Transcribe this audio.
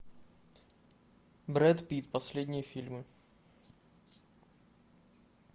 брэд питт последние фильмы